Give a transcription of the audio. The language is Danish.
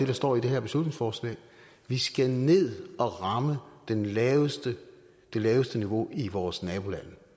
der står i det her beslutningsforslag at vi skal ned og ramme det laveste det laveste niveau i vores nabolande